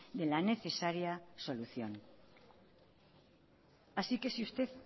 de la necesaria solución así que si usted